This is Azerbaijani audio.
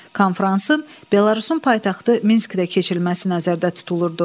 Konfransın Belarusun paytaxtı Minskdə keçirilməsi nəzərdə tutulurdu.